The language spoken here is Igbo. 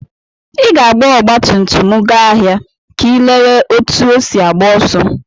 Ị ga-agba ọgbatumtum m gaa ahịa ka ịlele ka osi agbá ọsọ.